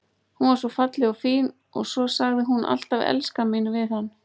Hún var svo falleg og fín og svo sagði hún alltaf elskan mín við hann.